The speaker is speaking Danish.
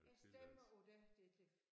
Jeg stemmer på dig Ditlev